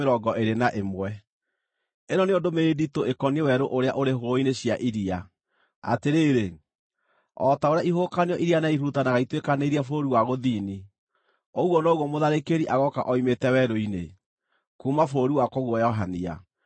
Ĩno nĩyo ndũmĩrĩri nditũ ĩkoniĩ Werũ ũrĩa ũrĩ Hũgũrũrũ-inĩ cia Iria: Atĩrĩrĩ, o ta ũrĩa ihuhũkanio iria nene ihurutanaga ituĩkanĩirie bũrũri wa gũthini, ũguo noguo mũtharĩkĩri agooka oimĩte werũ-inĩ, kuuma bũrũri wa kũguoyohania.